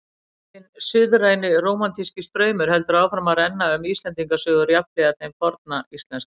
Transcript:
Hinn suðræni rómantíski straumur heldur áfram að renna um Íslendingasögur jafnhliða þeim forna íslenska.